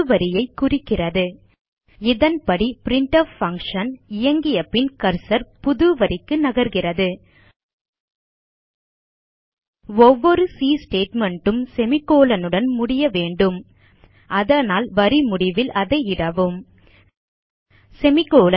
புதுவரியைக் குறிக்கிறது இதன்படி printf function இயங்கியபின் கர்சர் புதுவரிக்கு நகர்கிறது ஒவ்வொரு சி statement ம் செமிகோலன் னுடன் முடிய வேண்டும் அதனால் வரி முடிவில் அதை இடவும் செமிகோலன்